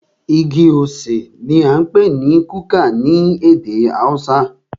Igi osè ní a ń pé ní kuka ní ède haúsá.